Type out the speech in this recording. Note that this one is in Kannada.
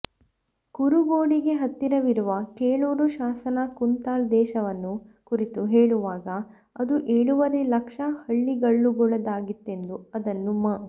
ಕುರುಗೋಡಿಗೆ ಹತ್ತಿರವಿರುವ ಕೆಳೂರು ಶಾಸನ ಕುಂತಳ ದೇಶವನ್ನು ಕುರಿತು ಹೇಳುವಾಗ ಅದು ಏಳುವರೆ ಲಕ್ಷ ಹಳ್ಳಿಗಳುಳ್ಳದ್ದಾಗಿತ್ತೆಂದು ಅದನ್ನು ಮ